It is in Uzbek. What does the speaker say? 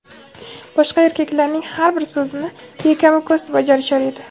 boshqa erkaklarning har bir so‘zini bekamu ko‘st bajarishar edi.